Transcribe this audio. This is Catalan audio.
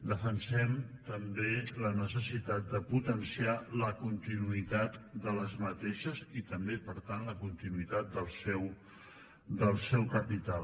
defensem també la necessitat de potenciar la continuïtat d’aquestes i també per tant la continuï tat del seu capital